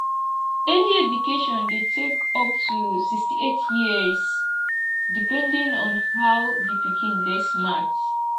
early education de take up to 68years depending on how the pikin de smart